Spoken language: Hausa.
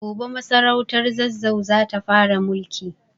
Gobe masarautar Zazzau za ta fara mulki.